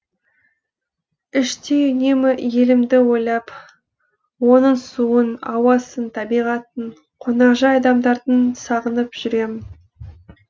іштей үнемі елімді ойлап оның суын ауасын табиғатын қонақжай адамдарын сағынып жүремін